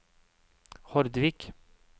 Hordvik